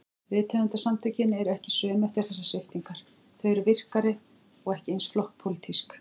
Rithöfundasamtökin eru ekki söm eftir þessar sviptingar, þau eru virkari- og ekki eins flokkspólitísk.